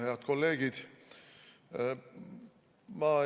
Head kolleegid!